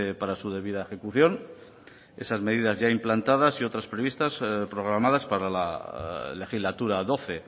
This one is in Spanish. para su debida ejecución esas medidas ya implantadas y otras previstas programadas para la legislatura doce